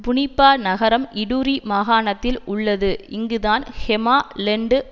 புனிபா நகரம் இடுரி மாகாணத்தில் உள்ளது இங்குதான் ஹெமா லெண்டு